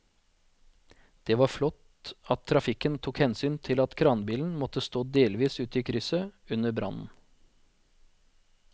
Det var flott at trafikken tok hensyn til at kranbilen måtte stå delvis ute i krysset under brannen.